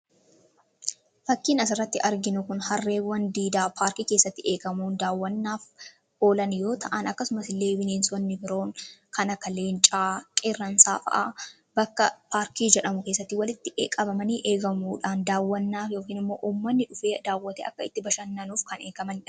Fakkiin asirratti arginu Kun harreewwan diidaa paarkii keessatti eegamuun daawwannaaf oolan yoo ta'an, akkasuma illee bineensonni biroon kan akka leencaa, Qeerransaa bakka paarkii jedhamutti walitti qabamanii eegamuudhaan daawwannaaf yookaan uummanni dhufee daawwatee akka itti bashannanuuf kan eegamanidha.